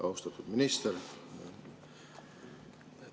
Austatud minister!